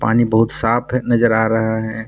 पानी बहुत साफ है नजर आ रहा है।